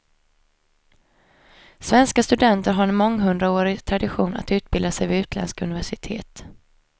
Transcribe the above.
Svenska studenter har en månghundraårig tradition att utbilda sig vid utländska universitet.